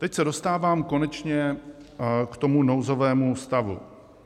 Teď se dostávám konečně k tomu nouzovému stavu.